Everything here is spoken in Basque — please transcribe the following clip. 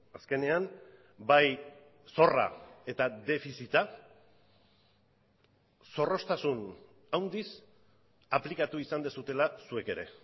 azkenean bai zorra eta defizita zorroztasun handiz aplikatu izan duzuela zuek ere